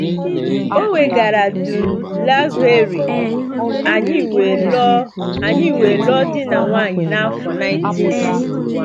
Ọ kwagara Dun Laoghaire, anyị wee lụọ anyị wee lụọ di na nwunye n’afọ 1961.